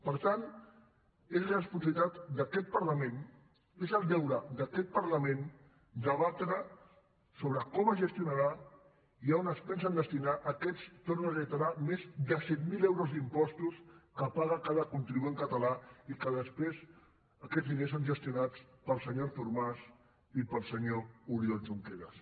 per tant és responsabilitat d’aquest parlament és el deure d’aquest parlament debatre sobre com es gestionarà i on es pensen destinar aquests ho torno a reiterar més de set mil euros d’impostos que paga cada contribuent català i que després aquests diners són gestionats pel senyor artur mas i pel senyor oriol junqueras